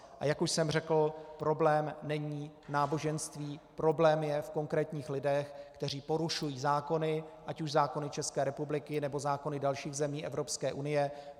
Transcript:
A jak už jsem řekl, problém není náboženství, problém je v konkrétních lidech, kteří porušují zákony, ať už zákony České republiky, nebo zákony dalších zemí Evropské unie.